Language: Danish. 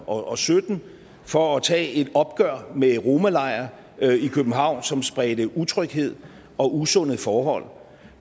og og sytten for at tage et opgør med romalejre i københavn som spredte utryghed og usunde forhold